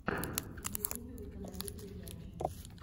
в ютубе установи передачи